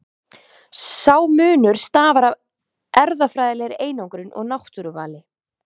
Sá munur stafar af erfðafræðilegri einangrun og náttúruvali.